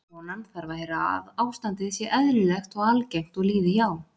konan þarf að heyra að ástandið sé eðlilegt og algengt og líði hjá